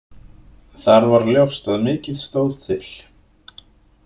Þar var ljóst að mikið stóð til.